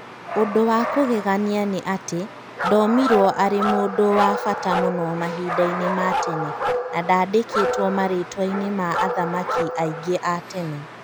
Ũndũ wa kũgegania nĩ atĩ, ndomirwo arĩ mũndũ wa bata mũno mahinda-inĩ ma tene na ndaandĩkĩtwo marĩĩtwa-inĩ ma athamaki aingĩ a tene.